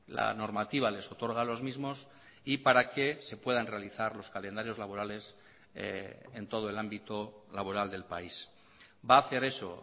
la normativa les otorga a los mismos y para que se puedan realizar los calendarios laborales en todo el ámbito laboral del país va a hacer eso